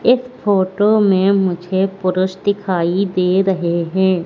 इस फोटो में मुझे पुरुष दिखाइ दे रहे हैं।